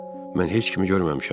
Mən heç kimi görməmişəm.